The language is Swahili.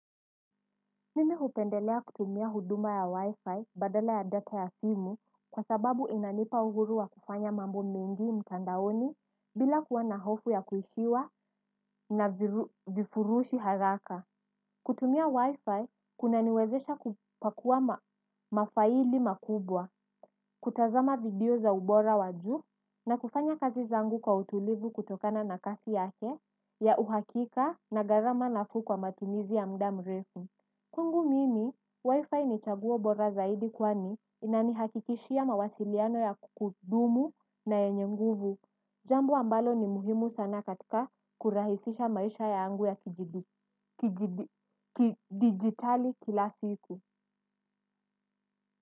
Mimi hupendelea kutumia huduma ya wi-fi badala ya data ya simu kwa sababu inanipa uhuru wa kufanya mambo mingi mtandaoni bila kuwa na hofu ya kuishiwa na vifurushi haraka. Kutumia wi-fi kuna niwezesha kupakua mafaili makubwa, kutazama video za ubora wa juu na kufanya kazi zangu kwa utulivu kutokana na kasi yake ya uhakika na gharama nafuu kwa matumizi ya muda mrefu. Kwangu mimi, wifi ni chaguo bora zaidi kwani inanihakikishia mawasiliano ya kudumu na yenye nguvu. Jambo ambalo ni muhimu sana katika kurahisisha maisha yangu ya kidigitali kila siku.